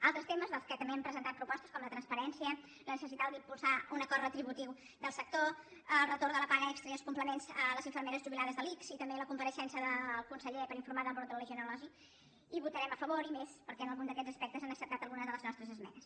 altres temes dels quals també hem presentat propostes com la transparència la necessitat d’impulsar un acord retributiu del sector el retorn de la paga extra i els complements a les infermeres jubilades de l’ics i també la compareixença del conseller per informar del brot de legionel·losi hi votarem a favor i més perquè en algun d’aquests aspectes han acceptat alguna de les nostres esmenes